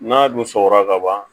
N'a dun sɔgɔra ka ban